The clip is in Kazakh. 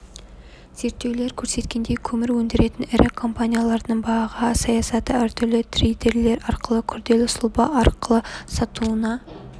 зерттеулер көрсеткендей көмір өндіретін ірі компаниялардың баға саясаты әр түрлі трейдерлер арқылы күрделі сұлба арқылы сатуына